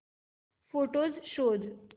photos शोध